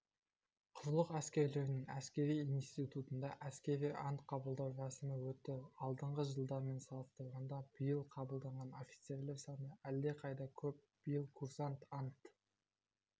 құрлық әскерлерінің әскери институтында әскери ант қабылдау рәсімі өтті алдыңғы жылдармен салыстырғанда биыл қабылданған офицерлер саны әлдеқайда көп биыл курсант ант